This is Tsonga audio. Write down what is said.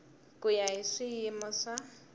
ku ya hi swiyimo swo